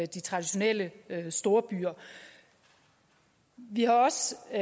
de traditionelle storbyer vi har